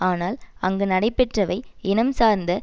ஆனால் அங்கு நடைபெற்றவை இனம் சார்ந்த